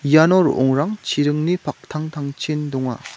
iano ro·ongrang chiringni paktangtangchin donga.